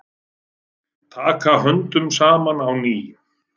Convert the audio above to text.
Taka höndum saman á ný